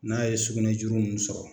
N'a ye sugunɛ juru ninnu sɔrɔ